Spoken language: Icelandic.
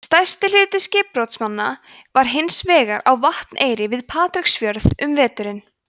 stærsti hluti skipbrotsmanna var hins vegar á vatneyri við patreksfjörð um veturinn